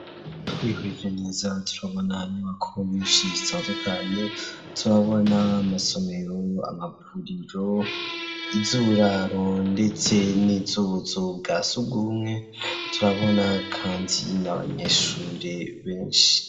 Twihweje neza ,turabona inyubako nyinshi zitandukanye, turabona amasomero ,amavuriro, izuburaro ,ndetse n'ubuzu bwa sugumwe, turabona kandi n' abanyeshure benshi